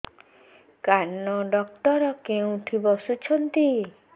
କାନ ଡକ୍ଟର କୋଉଠି ବସୁଛନ୍ତି